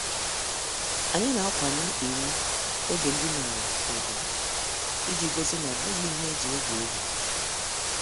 Anyị na-akwanye iwu oge ndine ala ugwu, iji gosi na obughi ihe eji egwu egwu.